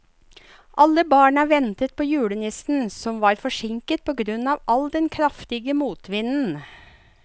Alle barna ventet på julenissen, som var forsinket på grunn av den kraftige motvinden.